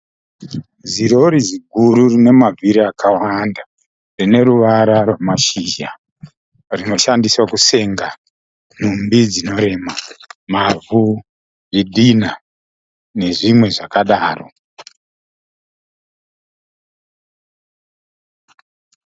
Zirori ziguru rina mavhiri akawanda rine ruwara rwamashizha. Rinoshandiswa kusenga nhumbi dzinorema, mavhu, zvidhinha nezvimwe zvakadaro.